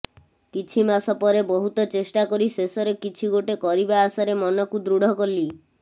କିଛି ମାସ ପରେ ବହୁତ ଚେଷ୍ଟା କରି ଶେଷରେ କିଛି ଗୋଟେ କରିବା ଆଶାରେ ମନକୁ ଦୃଢ଼ କଲି